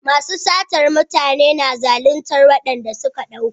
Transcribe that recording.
Masu satar mutane suna zalintar waɗanda suka ɗauka.